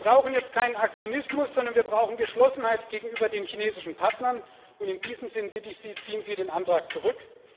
Wir brauchen jetzt keinen Aktionismus, sondern wir brauchen Geschlossenheit gegenüber den chinesischen Partnern, und in diesem Sinn bitte ich Sie Ziehen Sie den Antrag zurück!